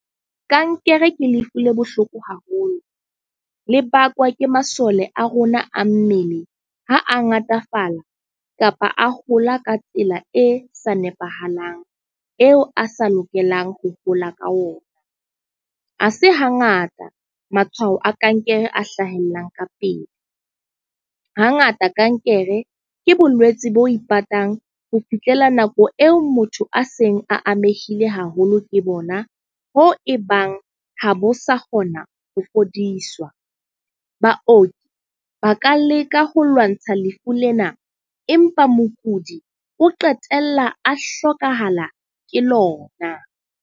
Kankere ke lefu le bohloko haholo. Le bakwa ke masole a rona a mmele ha a ngatafala kapa a hola ka tsela e sa nepahalang, eo a sa lokelang ho hola ka ona. Ha se ha ngata matshwao a kankere a hlahellang ka pele. Ha ngata kankere ke bolwetse bo ipatang ho fihlela nako eo motho a seng a amehile haholo ke bona. Hoo e bang ha bo sa kgona ho fodiswa. Baoki ba ka leka ho lwantsha lefu lena. Empa mokudi o qetella a hlokahala ke lona.